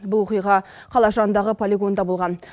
бұл оқиға қала жанындағы полигонда болған